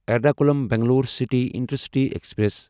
Ernakulam Bangalore city intercity express